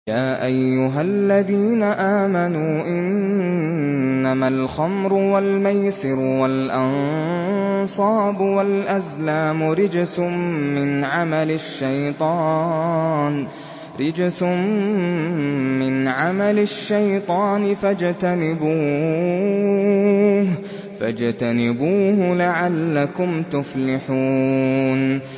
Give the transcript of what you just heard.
يَا أَيُّهَا الَّذِينَ آمَنُوا إِنَّمَا الْخَمْرُ وَالْمَيْسِرُ وَالْأَنصَابُ وَالْأَزْلَامُ رِجْسٌ مِّنْ عَمَلِ الشَّيْطَانِ فَاجْتَنِبُوهُ لَعَلَّكُمْ تُفْلِحُونَ